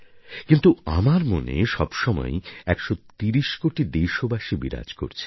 কিন্তু আমার মনে সব সময়ই ১৩০ কোটি দেশবাসী বিরাজ করছে